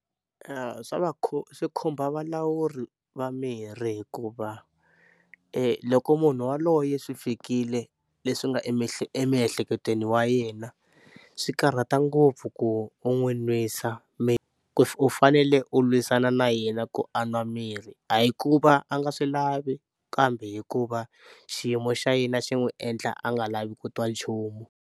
Swa va swi khumba valawuri va mirhi hikuva loko munhu yaloye swi fikile leswi nga emiehleketweni wa yena swi karhata ngopfu ku u n'wi nwisa u fanele u lwisana na yena ku a nwa mirhi a hi ku va a nga swi lavi kambe hikuva xiyimo xa yena xi n'wi endla a nga lavi ku twa nchumu.